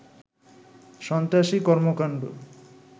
সন্ত্রাসী কর্মকাণ্ড